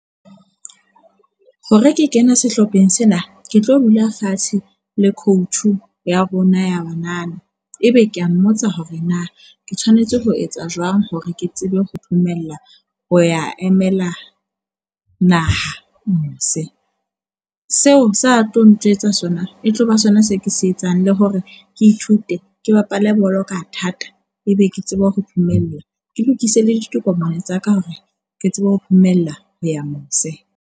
Hore ke kene sehlopheng sena, ke tlo dula fatshe le coach ya rona ya banana. Ebe ke a mmotsa hore na ke tshwanetse ho etsa jwang hore ke tsebe ho phomella ho ya emela naha mose. Seo sa tlo ntjwetsa sona e tloba sona se ke se etsang le hore ke ithute ke bapale bolo ka thata. Ebe ke tsebe ho phumella ke lokise le ditokomane tsa ka hore ke tsebe ho phomella hoya mose.